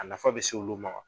A nafa be s'olu ma